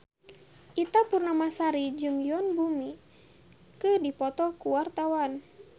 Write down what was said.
Ita Purnamasari jeung Yoon Bomi keur dipoto ku wartawan